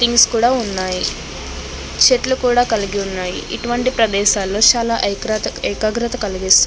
Things కూడ ఉన్నాయి. చెట్లు కూడ కలిగి ఉన్నాయి. ఇటువంటి ప్రదేశాల్లో చాలా ఏకాగ్రత కలిగిస్తుంది.